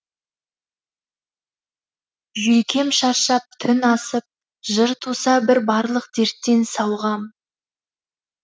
жүйкем шаршап түн асып жыр туса бір барлық дерттен сауығам